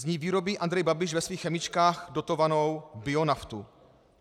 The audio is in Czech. Z ní vyrobí Andrej Babiš ve svých chemičkách dotovanou bionaftu.